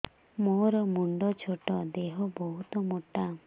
ମୋର ମୁଣ୍ଡ ଛୋଟ ଦେହ ବହୁତ ମୋଟା